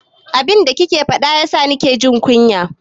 Abin da kike faɗa yasa na ke jin kunya.